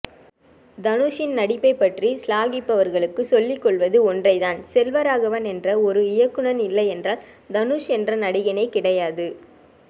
தனுஷின் நடிப்பை பற்றி சிலாகிப்பவர்களுக்கு சொல்லிக்கொள்வது ஒன்றைதான் செல்வராகவன் என்ற ஒரு இயக்குனன் இ்ல்லையென்றால் தனுஷ் என்ற நடிகனே கிடையாது